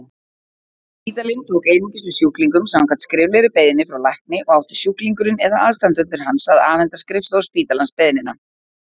Spítalinn tók einungis við sjúklingum samkvæmt skriflegri beiðni frá lækni og átti sjúklingurinn eða aðstandendur hans að afhenda skrifstofu spítalans beiðnina.